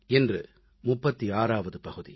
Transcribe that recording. இன்று 36ஆம் பகுதி